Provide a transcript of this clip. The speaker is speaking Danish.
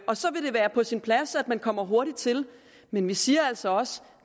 og så vil det være på sin plads at man kommer hurtigt til men vi siger altså også